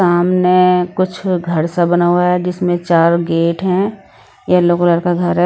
सामने कुछ घर सा बना हुआ है जिसमें चार गेट हैं येलो कलर का घर है।